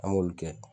An b'olu kɛ